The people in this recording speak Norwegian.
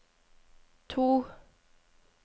to